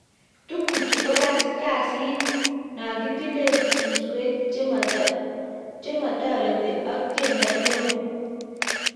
Tukchuu ko gasit nagitile suswek chematiret ak tiendoo neo